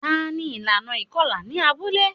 Tani ilana ikọla ni abule?